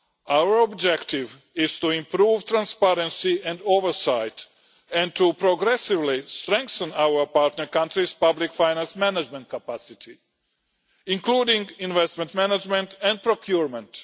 Our objective is to improve transparency and oversight and to progressively strengthen our partner countries' public finance management capacity, including investment management and procurement.